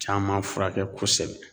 Caman furakɛ kosɛbɛ